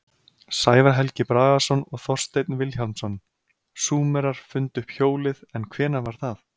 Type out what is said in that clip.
Sævar Helgi Bragason og Þorsteinn Vilhjálmsson: Súmerar fundu upp hjólið en hvenær var það?